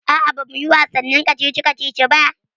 Aa, ba muyi wasannin kacici kacici ba